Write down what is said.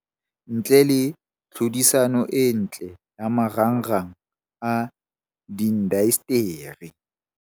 Ntle le tlhodisano e ntle ya marangrang a diindasteri.